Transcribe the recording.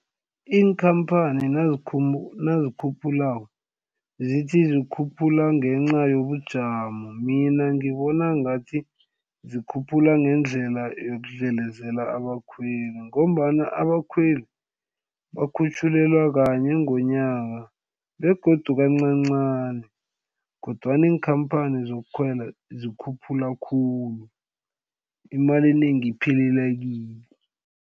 Iinkhamphani nazikhuphulako zithi zikhuphula ngenca yobujamo mina ngibona ngathi zikhuphula ngendlela yokudlelezela abakhweli ngombana abakhweli bakhutjhulelwa kanye ngonyaka begodu kancancani kodwana iinkhamphani zokukhwela zikhuphula khulu imali enengi iphelela kibo.